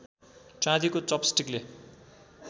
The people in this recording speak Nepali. चाँदीको चपस्टिकले